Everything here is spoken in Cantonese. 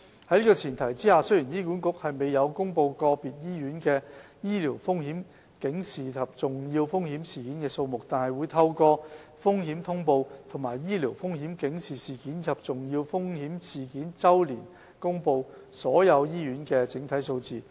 在這前提下，雖然醫管局沒有公布個別醫院的醫療風險警示及重要風險事件數目，但會透過《風險通報》和醫療風險警示事件及重要風險事件周年報告公布所有醫院的整體數字。